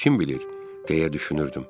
Kim bilir, deyə düşünürdüm.